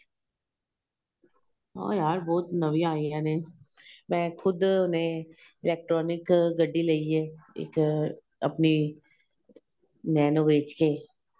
ਹਾਂ ਯਾਰ ਬਹੁਤ ਨਵੀਆਂ ਆਈਆਂ ਨੇ ਮੈਂ ਖੁੱਦ ਨੇ electronic ਗੱਡੀ ਲਈਏ ਇੱਕ ਆਪਣੀ nano ਵੇਚ ਕ਼